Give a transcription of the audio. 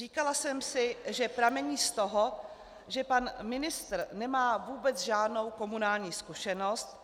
Říkala jsem si, že pramení z toho, že pan ministr nemá vůbec žádnou komunální zkušenost,